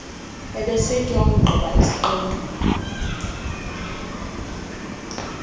eepesenti wakugqiba isiqendu